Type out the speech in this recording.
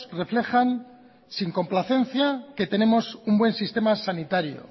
reflejan sin complacencia que tenemos un buen sistema sanitario